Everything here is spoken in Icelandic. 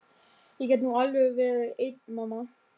Ég get nú alveg verið ein mamma.